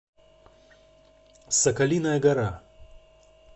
соколиная гора